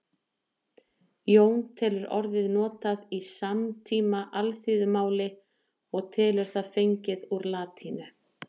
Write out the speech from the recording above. Jón telur orðið notað í samtíma alþýðumáli og telur það fengið úr latínu.